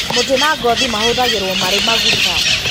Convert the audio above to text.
Mũtĩ na ngothi mahũthagĩrũo marĩ maguta.